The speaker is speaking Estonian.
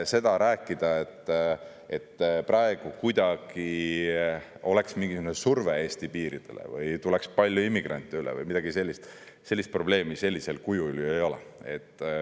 Seda probleemi, et praegu kuidagi oleks mingisugune surve Eesti piiridele või tuleks palju immigrante üle või midagi sellist, sellisel kujul ju ei ole.